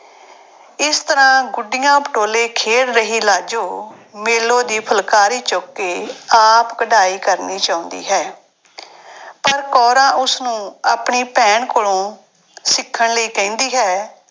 ਇਸ ਤਰ੍ਹਾਂ ਗੁੱਡੀਆਂ ਪਟੋਲੇ ਖੇਡ ਰਹੀ ਲਾਜੋ ਮੇਲੋ ਦੀ ਫੁਲਕਾਰੀ ਚੁੱਕ ਕੇ ਆਪ ਕਢਾਈ ਕਰਨੀ ਚਾਹੁੰਦੀ ਹੈ ਪਰ ਕੌਰਾਂ ਉਸਨੂੰ ਆਪਣੀ ਭੈਣ ਕੋਲੋਂ ਸਿੱਖਣ ਲਈ ਕਹਿੰਦੀ ਹੈ।